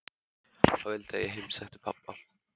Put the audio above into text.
Hann vildi að ég heimsækti pabba.